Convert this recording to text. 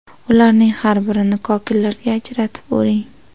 Ularning har birini kokillarga ajratib, o‘ring.